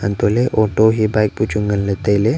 antoley auto hia bike bu chu nganley tailey.